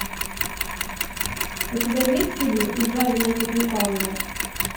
у тебя есть фильм избавь нас от лукавого